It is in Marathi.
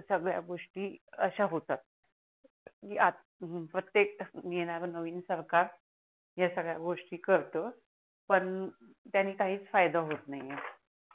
संगड्या गोष्टी अश्या होतात की आता प्रतेक येणार नवीन सरकार हया संगड्या गोष्टी करत पण त्यांनी काहीच फायदा होत नाही आहे